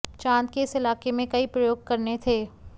चांद के इस इलाके में कई प्रयोग करने थे